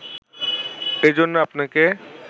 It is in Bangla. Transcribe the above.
এজন্য আপনাকে